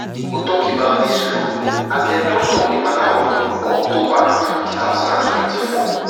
go tok about dis loan as dem don tok di mata of loan for october two thousand and twenty-four